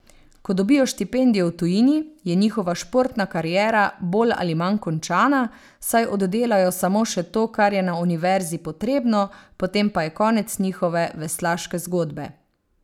Ko dobijo štipendijo v tujini, je njihova športna kariera bolj ali manj končana, saj oddelajo samo še to, kar je na univerzi potrebno, potem pa je konec njihove veslaške zgodbe.